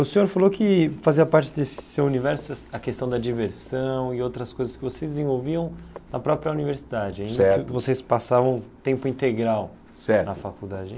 O senhor falou que fazia parte desse seu universo es a questão da diversão e outras coisas que vocês desenvolviam na própria universidade, Certo Ainda que vocês passavam tempo integral Certo Na faculdade.